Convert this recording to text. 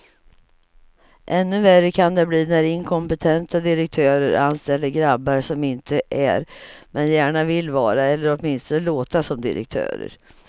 Ännu värre kan det bli när inkompetenta direktörer anställer grabbar som inte är, men gärna vill vara eller åtminstone låta som direktörer.